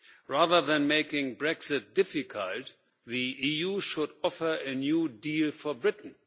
Rather than making Brexit difficult, the EU should offer a new deal for Britain.